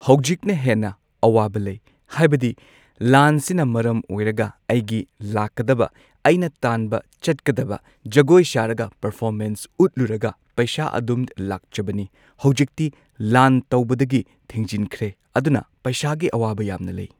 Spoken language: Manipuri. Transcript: ꯍꯧꯖꯤꯛꯅ ꯍꯦꯟꯅ ꯑꯋꯥꯕ ꯂꯩ ꯍꯥꯏꯕꯗꯤ ꯂꯥꯟꯁꯤꯅ ꯃꯔꯝ ꯑꯣꯢꯔꯒ ꯑꯩꯒꯤ ꯂꯥꯛꯀꯗꯕ ꯑꯩꯅ ꯇꯥꯟꯕ ꯆꯠꯀꯗꯕ ꯖꯒꯣꯏ ꯁꯥꯔꯒ ꯄꯔꯐꯣꯃꯦꯟꯁ ꯎꯠꯂꯨꯔꯒ ꯄꯩꯁꯥ ꯑꯗꯨꯝ ꯂꯥꯛꯆꯕꯅꯤ ꯍꯧꯖꯤꯛꯇꯤ ꯂꯥꯟ ꯇꯧꯕꯗꯒꯤ ꯊꯤꯡꯖꯤꯟꯈ꯭ꯔꯦ ꯑꯗꯨꯅ ꯄꯩꯁꯥꯒꯤ ꯑꯋꯥꯕ ꯌꯥꯝꯅ ꯂꯩ꯫